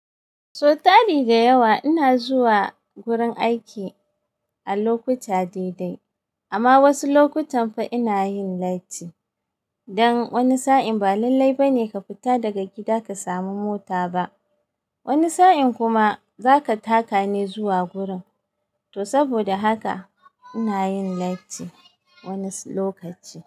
Sau tali da yawa ina zuwa gurin aiki a lokuta daidai amma wasu lokutan fa ina yin lati. Dan wani sa'in ba lallai bane ka fita daga gida ka samu mota ba. Wani sa'in kuma zaka taka ne zuwa gurin. To saboda haka ina yin lati wani lokaci.